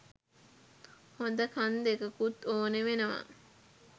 හොද කන් දෙකකුත් ඕනේ වෙනවා